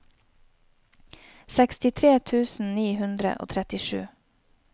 sekstitre tusen ni hundre og trettisju